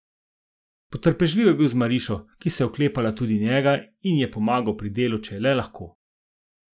Potrpežljiv je bil z Marišo, ki se je oklepala tudi njega, in je pomagal pri delu, če je le lahko.